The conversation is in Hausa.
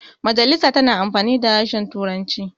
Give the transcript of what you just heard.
majasila tana amfani da harshen turanci